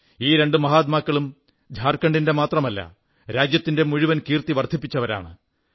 ഈ രണ്ടു മഹാത്മാക്കളും ഝാർഖണ്ഡിന്റെ മാത്രമല്ല രാജ്യത്തിന്റെ മുഴുവൻ കീർത്തി വർദ്ധിപ്പിച്ചവരാണ്